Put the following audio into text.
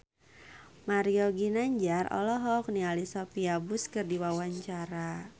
Mario Ginanjar olohok ningali Sophia Bush keur diwawancara